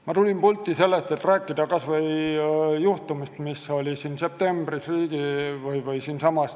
Ma tulin pulti selleks, et rääkida ühest septembrikuisest juhtumist siinsamas.